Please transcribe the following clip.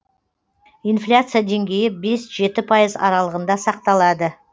инфляция деңгейі бес жеті пайыз аралығында сақталады